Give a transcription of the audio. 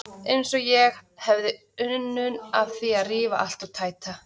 Eins og ég hefði unun af því að rífa allt og tæta.